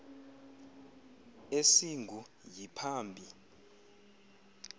esingu yi phambi